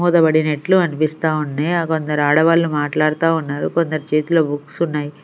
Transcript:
మూత పడినట్లు అనిపిస్తా ఉంది కొందరు ఆడవాళ్ళు మాట్లాడతా ఉన్నారు కొందరి చేతులో బుక్స్ ఉన్నాయి.